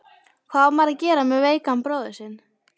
Hvað á maður að gera með veikan bróður sinn?